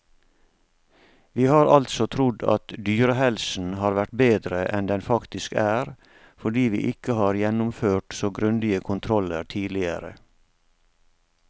Vi har altså trodd at dyrehelsen har vært bedre enn den faktisk er, fordi vi ikke har gjennomført så grundige kontroller tidligere.